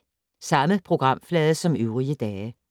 Samme programflade som øvrige dage